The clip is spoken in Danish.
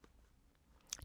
DR K